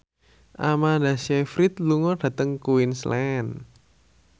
Amanda Sayfried lunga dhateng Queensland